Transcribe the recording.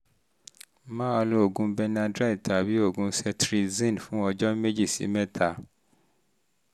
máa lo oògùn cs] benadryl tàbí oògùn cetirizine fún ọjọ́ méjì sí mẹ́ta